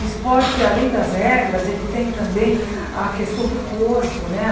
O esporte, além das regras, ele tem também a questão do corpo né.